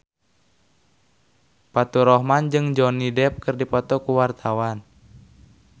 Faturrahman jeung Johnny Depp keur dipoto ku wartawan